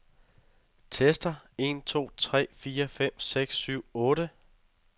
Tester en to tre fire fem seks syv otte.